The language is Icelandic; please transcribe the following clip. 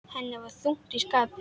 Henni var þungt í skapi.